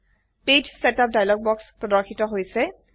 page setup dialogue বাক্স প্ৰৰ্দশিত হৈছে